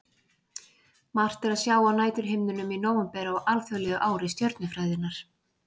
Margt er að sjá á næturhimninum í nóvember á alþjóðlegu ári stjörnufræðinnar.